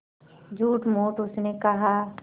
झूठमूठ उसने कहा